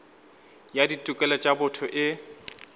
ya ditokelo tša botho e